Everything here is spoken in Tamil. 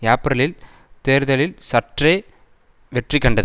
ஏப்பிரலில் தேர்தலில் சற்றே வெற்றி கண்டது